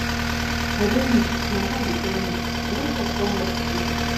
i dey weak my eye dey turn me i no chop come work today